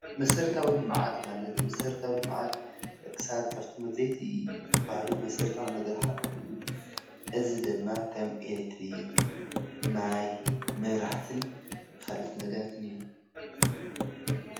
መሰረታዊ ልምዓት ማለት መሰረታዊ ልምዓት ደቂ ሰባት ካፍቶም አድለይቲ ዝበሃሉ መሰረታዊ ነገር ሓደ ኾይኑ ፤ እዚ ድማ ከም ኤሌክትሪክ፣ ማይ፣ መብራህትን ኻልኦት ነገራትን እዮም፡፡